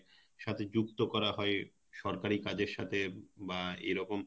সাথে যুক্ত করা হয় সরকারি কাজের সাথে বা এরকম